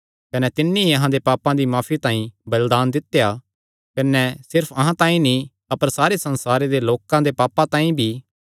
कने तिन्नी ई अहां दे पापां दी माफी तांई बलिदान दित्या ऐ कने सिर्फ अहां तांई नीं अपर सारे संसारे दे लोकां दे पापां तांई भी